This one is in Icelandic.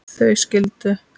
Þau skildu.